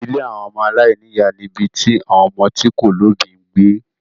Ilé àwọn ọmọ aláìní ìyá ni ibi tí àwon ọmọ tí kò lóbìí ń gbé.